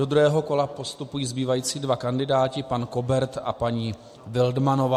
Do druhého kola postupují zbývající dva kandidáti, pan Kobert a paní Wildmannová.